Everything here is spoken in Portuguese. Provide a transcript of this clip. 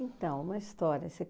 Então, uma história. Se